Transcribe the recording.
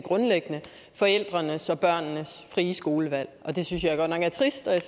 forældrenes og børnenes frie skolevalg det synes jeg godt nok er trist og jeg